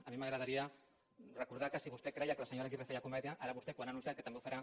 a mi m’agradaria recordar que si vostè creia que la senyora aguirre feia comèdia ara vostè quan ha anunciat que també ho farà